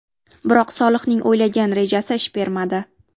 Biroq Solihning o‘ylagan rejasi ish bermadi.